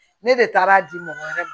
Ne de taara a di mɔgɔ wɛrɛ ma